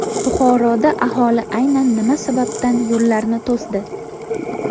Buxoroda aholi aynan nima sababdan yo‘llarni to‘sdi?